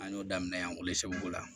An y'o daminɛ yan o segu la